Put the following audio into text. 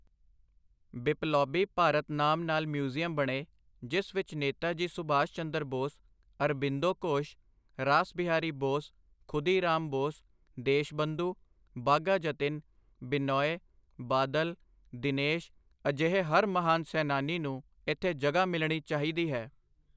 ਬਿਪਲੌਬੀ ਭਾਰਤ ਨਾਮ ਨਾਲ ਮਿਊਜ਼ੀਅਮ ਬਣੇ, ਜਿਸ ਵਿੱਚ ਨੇਤਾ ਜੀ ਸੁਭਾਸ਼ਚੰਦਰ ਬੋਸ, ਅਰਬਿੰਦੋ ਘੋਸ਼, ਰਾਸ ਬਿਹਾਰੀ ਬੋਸ, ਖੁਦੀ ਰਾਮ ਬੋਸ, ਦੇਸ਼ਬੰਧੁ, ਬਾਘਾ ਜਤਿਨ, ਬਿਨੌਏ, ਬਾਦਲ, ਦਿਨੇਸ਼, ਅਜਿਹੇ ਹਰ ਮਹਾਨ ਸੈਨਾਨੀ ਨੂੰ ਇੱਥੇ ਜਗ੍ਹਾ ਮਿਲਣੀ ਚਾਹੀਦੀ ਹੈ।